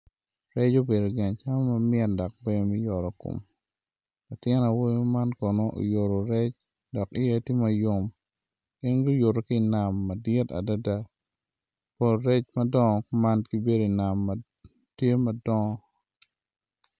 Rec obedo gin acama ma mit dok ber me yotokom latin awobi man kono oyutu rec dok iye ti ma yom gin guyutu ki i nam madit adida pol rec madongo kuman gibedi inam ma tye madongo